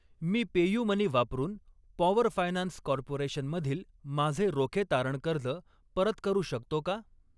मी PayUmoney वापरून Power Finance Corporation मधील माझे रोखे तारण कर्ज परत करू शकतो का?